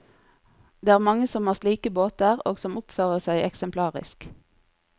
Det er mange som har slike båter og som oppfører seg eksemplarisk.